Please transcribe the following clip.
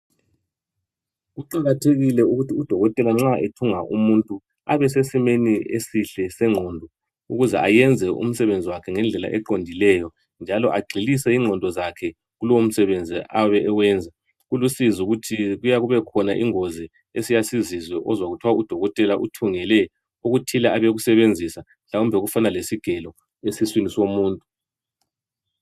Kuqakathekile ukuthi udokotela abesesimeni esihle sengqondo ukuze ayenze umsebenzi ngendlela eqondileyo njalo agxilise ingqondo yakhe kulomsebenzi ayeb eqenza. Kulusizi ukuthi kubekhona ingozi esiyake sizizwe uzwe kuthwa udokotela uthungele okuthile abe kusebenzisa mhlawumbe okufana lesigelo esiswini somuntu.